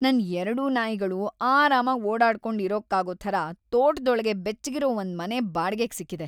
ನನ್ ಎರ್ಡೂ ನಾಯಿಗಳು ಆರಾಮಾಗ್ ಓಡಾಡ್ಕೊಂಡ್‌ ಇರೋಕ್ಕಾಗೋ ಥರ ತೋಟದೊಳಗೆ ‌ಬೆಚ್ಚಗಿರೋ ಒಂದ್ಮನೆ ಬಾಡ್ಗೆಗ್‌‌ ಸಿಕ್ಕಿದೆ.